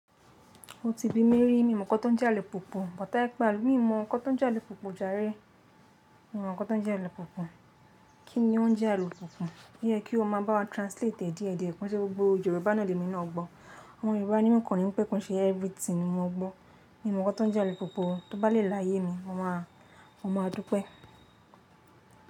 Ó ti bími rí, mi ò mọ̀ ǹkan tó ń jẹ àlùpùpù. But tó bá ipe-- mi ò mọ̀ ǹkan tó ń jẹ àlùpùpù jàre. Mi ò mọ̀ kó tó ń jẹ àlùpùpù. Kí ni ó ń jẹ àlùpùpù? Ó yẹ kí o máa bá wa translate è díẹ̀díẹ̀, kò ṣe gbogbo Yorùbá náà lèmi ná gbọ́. Ọmọ Yorùbá ni mi- kò rí pẹ́ kò ṣe everything ni mo gbọ́. Mi ò mọ̀ kó tó ń jẹ àlùpùpù. Tó bá lè láyé mi, mo máa, mo máa dúpẹ́.